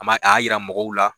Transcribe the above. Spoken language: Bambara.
A ma'a ya yira mɔgɔw la.